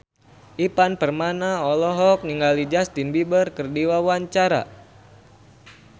Ivan Permana olohok ningali Justin Beiber keur diwawancara